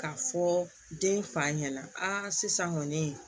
Ka fɔ den fa ɲɛna sisan kɔni